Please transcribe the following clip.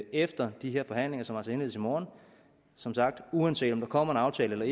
efter de her forhandlinger sagt indledes i morgen uanset om der kommer en aftale eller